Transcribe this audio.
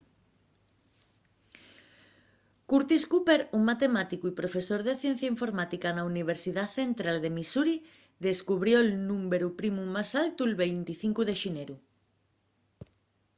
curtis cooper un matemáticu y profesor de ciencia informática na universidá central de missouri descubrió’l númberu primu más altu'l 25 de xineru